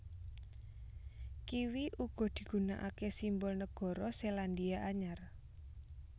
Kiwi uga digunakake simbol nagara Selandia Anyar